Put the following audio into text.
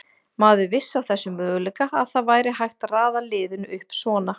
Maður vissi af þessum möguleika, að það væri hægt að raða liðinu upp svona.